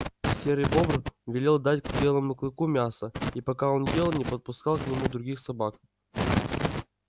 серый бобр велел дать белому клыку мяса и пока он ел не подпускал к нему других собак